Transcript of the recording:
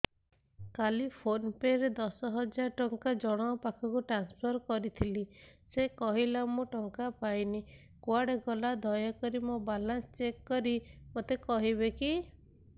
କାଲି PhonePe ରେ ଦଶ ହଜାର ଟଙ୍କା ଜଣକ ପାଖକୁ ଟ୍ରାନ୍ସଫର୍ କରିଥିଲି ସେ କହିଲା ମୁଁ ଟଙ୍କା ପାଇନି କୁଆଡେ ଗଲା ଦୟାକରି ମୋର ବାଲାନ୍ସ ଚେକ୍ କରି ମୋତେ କହିବେ କି